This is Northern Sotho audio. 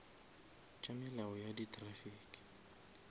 tša melao ya di traffic